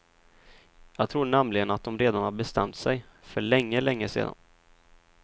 Jag tror nämligen att dom redan har bestämt sig, för länge länge sedan.